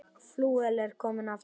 Flauel er komið aftur.